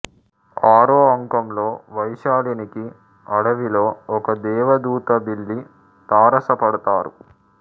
ఆరో అంకంలో వైశాలినికి అడవిలో ఒక దేవదూత భిల్లి తారసపడతారు